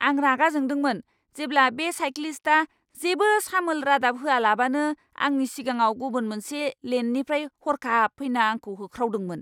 आं रागा जोंदोंमोन जेब्ला बे साइक्लिस्टआ जेबो सामोल रादाब होआलाबानो आंनि सिगाङाव गुबुन मोनसे लेननिफ्राय हर्खाब फैना आंखौ होख्रावदोंमोन!